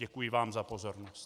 Děkuji vám za pozornost.